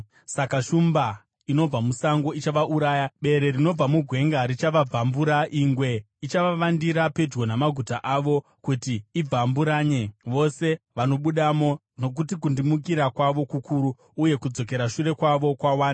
Saka shumba inobva musango ichavauraya, bere rinobva mugwenga richavabvambura, ingwe ichavavandira pedyo namaguta avo kuti ibvamburanye vose vanobudamo, nokuti kundimukira kwavo kukuru uye kudzokera shure kwavo kwawanda.